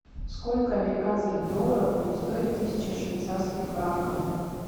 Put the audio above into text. сколько американских долларов будет стоить тысяча швейцарских франков